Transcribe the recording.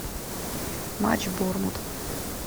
матч борнмут